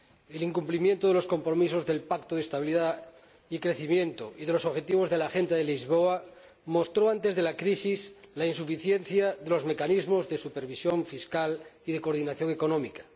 El incumplimiento de los compromisos del Pacto de Estabilidad y Crecimiento y de los objetivos de la Agenda de Lisboa mostró antes de la crisis la insuficiencia de los mecanismos de supervisión fiscal y de coordinación económica.